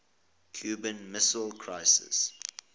cuban missile crisis